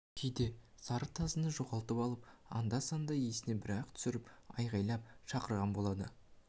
кейде сары тазыны жоғалтып алып анда-санда есіне бір-ақ түсіріп айғайлап шақырған болады